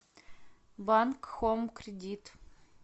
банк хоум кредит